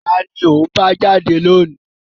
Ta ni ò ń bá jáde lónìí?